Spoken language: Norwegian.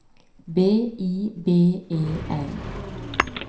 B I B E L